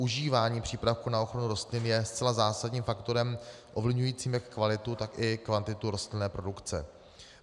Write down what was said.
Užívání přípravků na ochranu rostlin je zcela zásadním faktorem ovlivňujícím jak kvalitu, tak i kvantitu rostlinné produkce.